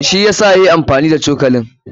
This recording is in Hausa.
Shi yasa yayi amfani da cokalin.